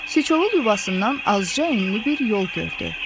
Siçovul yuvasından azca enli bir yol gördü.